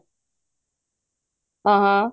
ਹਾਂ ਹਾਂ